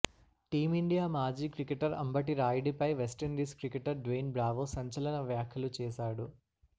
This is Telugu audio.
టీమ్ఇండియా మాజీ క్రికెటర్ అంబటి రాయుడి పై వెస్టిండీస్ క్రికెటర్ డ్వేన్ బ్రావో సంచలన వ్యాఖ్యలు చేశాడు